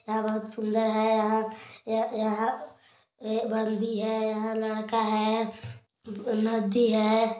यहाँ बोहत सुन्दर है यहाँ अ अ बंदी हैं यहाँ लड़का हैं नदी है।